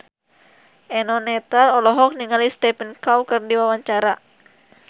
Eno Netral olohok ningali Stephen Chow keur diwawancara